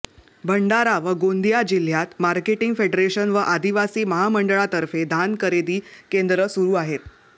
भंडारा व गोंदिया जिल्ह्यात marketing federation व आदिवासी महामंडळातर्फे धान खरेदी केंद्र सुरू आहेत